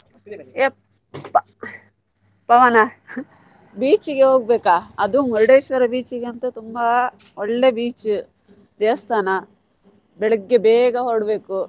ಪವನ beach ಗೆ ಹೋಗ್ಬೇಕಾ ಅದು Murdeshwar beach ಗಂತು ತುಂಬಾ ಒಳ್ಳೆ beach ದೇವಸ್ಥಾನ ಬೆಳಿಗ್ಗೆ ಬೇಗ ಹೊರಡ್ಬೇಕು.